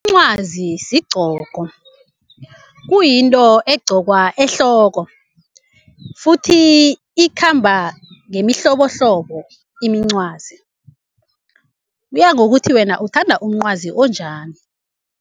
Umncwazi sigcoko, kuyinto egqokwa ehloko futhi ikhamba ngemihlobohlobo imincwazi, kuya ngokuthi wena uthanda umncwazi onjani.